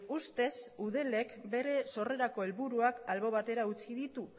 ustez eudelek bere sorrerako helburuak albo batera utzi ditu